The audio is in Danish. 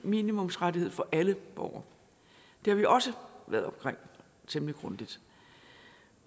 minimumsrettighed for alle borgere det har vi også været omkring temmelig grundigt